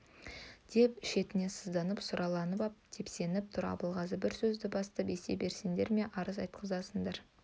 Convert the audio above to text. деп шетінен сызданып сұрланып ап тепсініп тұр абылғазы бір сөзді бастап есе бересіндер ме арыз айтқызасындар